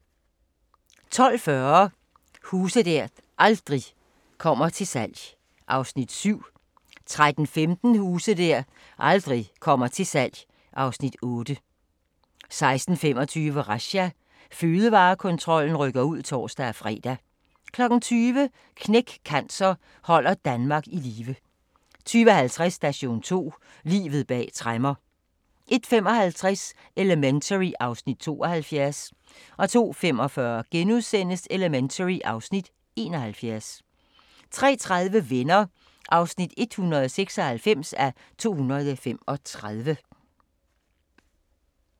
12:40: Huse der aldrig kommer til salg (Afs. 7) 13:15: Huse der aldrig kommer til salg (Afs. 8) 16:25: Razzia – Fødevarekontrollen rykker ud (tor-fre) 20:00: Knæk Cancer: Holder Danmark i live 20:50: Station 2: Livet bag tremmer 01:55: Elementary (Afs. 72) 02:45: Elementary (Afs. 71)* 03:30: Venner (196:235)